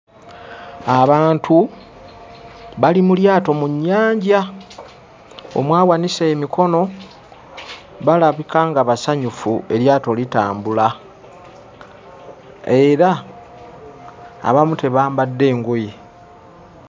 Abantu bali mu lyato mu nnyanja omu awanise emikono balabika nga basanyufu eryato litambula era abamu tebambadde ngoye.